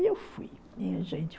eu fui, minha gente.